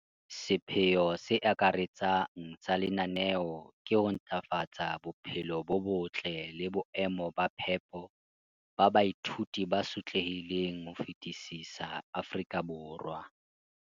sepheo se akaretsang sa lenaneo ke ho ntlafatsa bophelo bo botle le boemo ba phepo ba baithuti ba sotlehileng ho fetisisa Afrika Borwa.